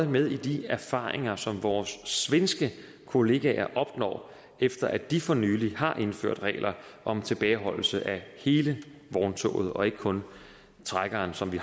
med i de erfaringer som vores svenske kollegaer opnår efter at de for nylig har indført regler om tilbageholdelse af hele vogntoget og ikke kun trækkeren som vi